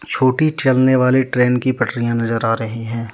छोटी चलने वाली ट्रेन की पटरिया नजर आ रही है।